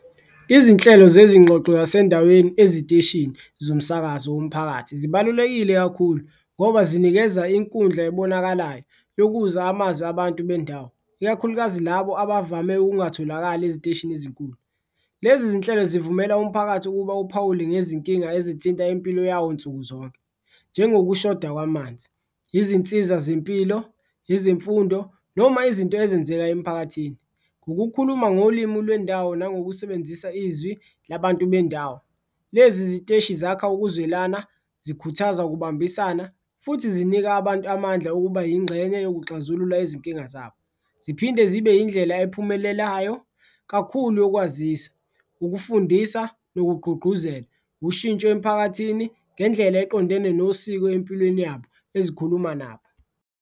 Izinhlelo zezingxoxo zasendaweni eziteshini zomsakazo womphakathi zibalulekile kakhulu ngoba zinikeza inkundla ebonakalayo yokuza amazi abantu bendawo, ikakhulukazi labo abavame ukungatholakali eziteshini ezinkulu. Lezi zinhlelo zivumela umphakathi ukuba uphawule ngezinkinga ezithinta impilo yawo nsuku zonke, njengokushoda kwamanzi, izinsiza zempilo, izimfundo noma izinto ezenzeka emphakathini ngokukhuluma ngolimu lwendawo nangokusebenzisa izwi labantu bendawo. Lezi ziteshi zakha ukuzwelana, zikhuthaza ukubambisana futhi zinika abantu amandla okuba yingxenye yokuxazulula izinkinga zabo, ziphinde zibe indlela ephumelelayo kakhulu yokwazisa, ukufundisa nokugqugquzela. Ushintsho emiphakathini ngendlela eqondene nosiko empilweni yabo ezikhuluma nabo.